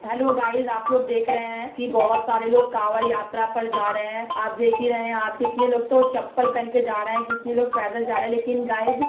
Hello guys आप लोग देख रहे हैं कि बोहत सारे लोग कावड़ यात्रा पर जा रहे हैं। आप देख ही रहे है। आप कितने लोग तो चप्पल पहन कर जा रहे हैं। कितने लोग पैदल जा रहे हैं लेकिन गाइस --